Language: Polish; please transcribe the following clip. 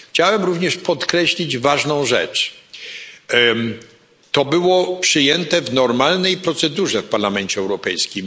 Chciałem również podkreślić ważną rzecz To było przyjęte w normalnej procedurze w Parlamencie Europejskim.